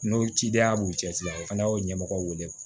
N'o cidenya b'u cɛ la o fana y'o ɲɛmɔgɔ wele